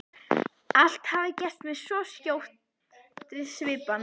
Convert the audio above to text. Allt hafi gerst með svo skjótri svipan.